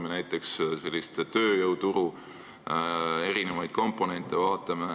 Pean silmas tööjõuturu erinevaid komponente.